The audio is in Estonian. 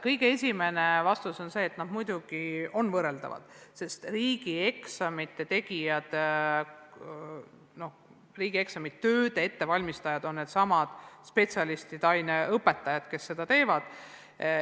Kõige esimene vastus on see, et muidugi on need võrreldavad, sest riigieksamite ettevalmistajad on needsamad spetsialistid ja aineõpetajad, kes seda teevad.